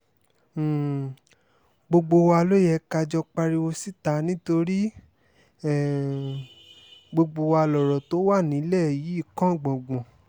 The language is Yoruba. um gbogbo wa ló yẹ ká jọ pariwo síta nítorí um gbogbo wa lọ̀rọ̀ tó wà nílẹ̀ yìí kàn gbọ̀ngbọ̀n